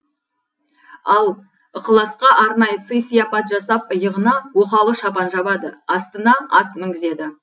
ал ықыласқа арнайы сый сияпат жасап иығына оқалы шапан жабады астына ат мінгізеді